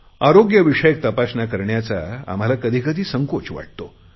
आरोग्य विषयक तपासण्या करण्याचा आम्हाला कधी कधी संकोच वाटतो